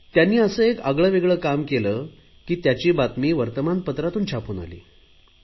त्यांनी असे एक आगळे वेगळे काम केले की त्याची बातमी वर्तमानपत्रातून छापून आली